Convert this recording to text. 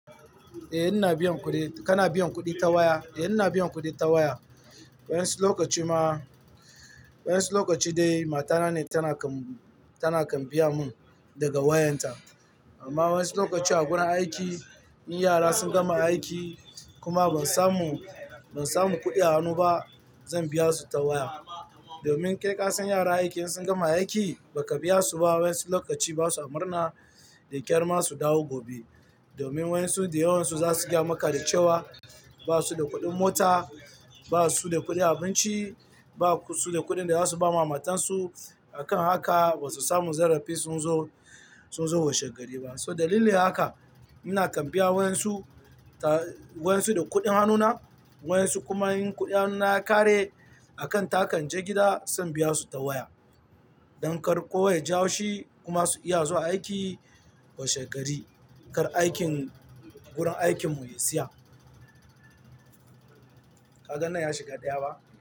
Eh ina biyan kuɗi. Kana biyan kuɗi ta waya? Eh ina biyan kuɗi ta waya. Wani lokaci ma, wani lokaci dai matana ce take biya minn, ta wayarta. Amma wasu lokutan a wurin aikina, idan yara sun gama aiki kuma ban samu kuɗi a hannuna ba, zan biya su ta waya. Domin kai kasan yaran aiki idan sun gama aiki baka biya su ba wasu lokutan basa murna da ƙyar ma su dawo washegari. Domin wasu da yawansu zasu fada maka cewa ba su da kuɗin mota, ba su da kuɗin abinci, ba su da kuɗin da zasu ba matar su. A kan haka basu samu zarafin zuwa washegari ba. To dalilin haka nake biyan wayan su, da kudade na wayan su kuma idan kudaden hannuna sun kare maimakon in taka in je gida sai in biya su ta waya. Don kada kowa ya ji haushi kuma su samu ƙarfin gwiwar zuwa aiki washegari. Kada aikin a wurin aikin mu ya tsaya. Kaga nan ya shiga ɗaya ba?